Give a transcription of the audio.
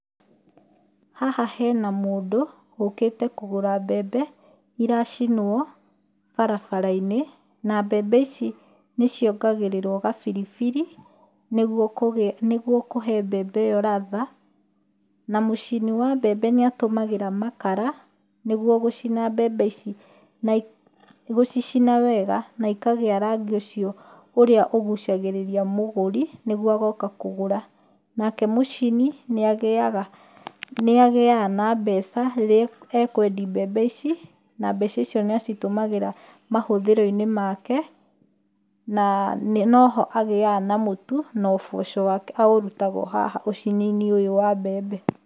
Haha hena mũndũ, ũkĩte kũgũra mbembe, iracinwo barabara-inĩ. Na mbembe ici nĩ ciongagĩrĩrwo gabiribiri, nĩguo kũgĩa nĩguo kũhe mbembe ĩyo ladha. Na mũcini wa mbembe nĩ atũmagĩra makara, nĩguo gũcina mbemb ici. Na gũcicina wega, na ikagĩa rangi ũcio ũrĩa ũgucagĩrĩria mũgũri, nĩguo agoka kũgũra. Nake mũcini, nĩ agĩaga nĩ agĩaga na mbeca rĩrĩa ekwendi mbembe ici, na mbeca icio nĩ acitũmagĩra mahũthĩro-inĩ make, na nĩ noho agĩaga na mũtu, na ũboco wake aurutaga o haha ũcini-inĩ ũyũ wa mbembe.